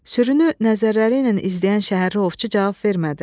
Sürünü nəzərləriylə izləyən şəhərli ovçu cavab vermədi.